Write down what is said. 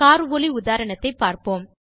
car ஒலி உதாரணத்தைப்பார்ப்போம்